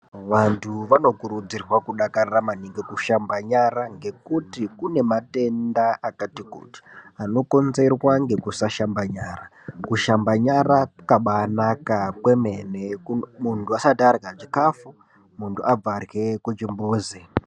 Vantu vanokurudzirwa kudakarira maningi kushamba nyara ngekuti kune matenda akati kuti ano konzerwa ngekusashamba nyara . Kushamba nyara kwakabanaka kwemene muntu asati arya chikafu muntu abvahe kuchimbuzi.